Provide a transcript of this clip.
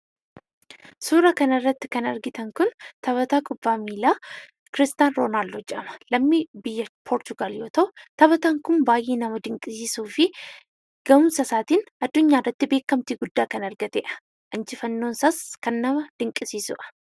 Suuraa kanarratti kan argitan kun taphataa kubbaa miilaa kiristaan Roonaaldoo jedhama. Lammii biyya poorchugaal yoo ta'u, taphataan kun baayyee nama dinqisiisuufi gahumsasaatiin adunyaarratti beekkamtii guddaa kan argatedha. Injifannoon isaas kan nama dinqisiisudha.